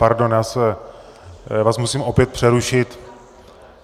Pardon, já vás musím opět přerušit.